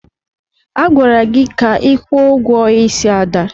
Agwara gị ka kwụọ ụgwọ ísí Ada!